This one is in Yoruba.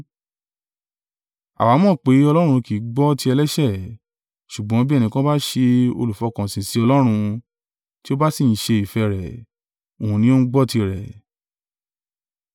Àwa mọ̀ pé Ọlọ́run kì í gbọ́ ti ẹlẹ́ṣẹ̀; ṣùgbọ́n bí ẹnìkan bá ṣe olùfọkànsìn sí Ọlọ́run, tí ó bá sì ń ṣe ìfẹ́ rẹ̀, Òun ni ó ń gbọ́ tirẹ̀.